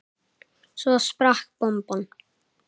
Svo sprakk bomban.